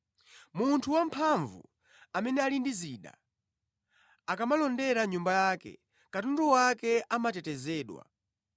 “Munthu wamphamvu, amene ali ndi zida, akamalondera nyumba yake, katundu wake amatetezedwa.